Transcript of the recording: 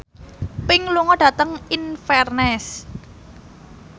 Pink lunga dhateng Inverness